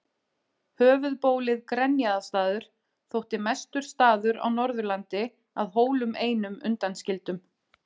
Höfuðbólið Grenjaðarstaður þótti mestur staður á Norðurlandi að Hólum einum undanskildum.